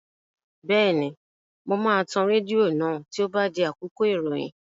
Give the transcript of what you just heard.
Bẹ́ẹ̀ni, mo máa tan rédíò náà tí ó bá di àkókò ìròyìn